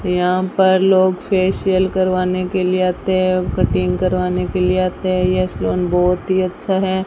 यहां पर लोग फेशियल करवाने के लिए आते हैं कटिंग करवाने के लिए आते हैं यह सैलून बहोत ही अच्छा है।